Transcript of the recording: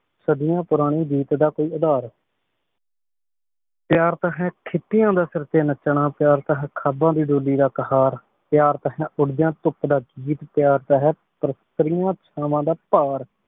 ਸਾੜਿਯੋੰ ਪੁਰਾਨੀ ਰੀਤ ਦਾ ਕੋਈ ਉਧਰ ਪ੍ਯਾਰ ਤਾਂ ਹੈ ਖਿਤਿਆਂ ਦਾ ਸਰ ਤੇ ਨਾਚਨਾ ਪ੍ਯਾਰ ਤਾਂ ਹੈ ਖਾਬਾਂ ਦੀ ਡੋਲੀ ਦਾ ਕਹਾਰ ਪ੍ਯਾਰ ਤਾਂ ਹੈ ਉਦ੍ਯਾਨ ਧੋਪ ਲਗਦੀ ਪ੍ਯਾਰ ਤਾਂ ਹੈ ਚਾਵਾਂ ਦਾ ਪਾਰ